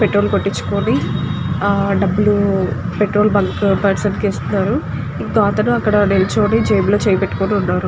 Petrol కొట్టించుకొని ఆ డబ్బులు పెట్రోల్ బంక్ పర్సన్ కి ఇస్తున్నారు ఇంకో అతను అక్కడ నిల్చొని జేబులో చెయ్ పెటుకున్నాడు.